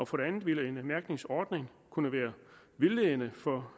for det andet ville en mærkningsordning kunne være vildledende for